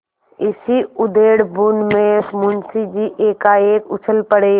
इसी उधेड़बुन में मुंशी जी एकाएक उछल पड़े